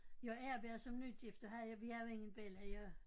Jeg er været som nygift og havde jeg vi havde jo ingen bella jeg